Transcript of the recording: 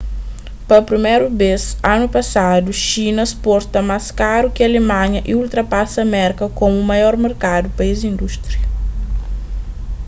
pa priméru bês anu pasadu xina sporta más karu ki alemanha y ultrapasa merka komu maior merkadu pa es indústria